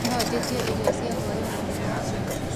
No njĩĩtĩe ĩrĩo cĩa hwaĩnĩ kũũma jumia